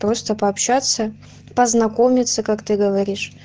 просто пообщаться познакомиться как ты говоришь